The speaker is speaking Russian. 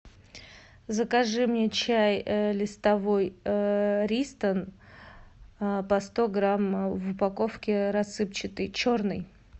закажи мне чай листовой ристон по сто грамм в упаковке рассыпчатый черный